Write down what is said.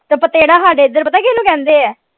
ਤੇ ਪਤੇੜਾ ਹਾਡੇ ਏਧਰ ਪਤਾ ਕਿਹਨੂੰ ਕਹਿੰਦੇ ਆ?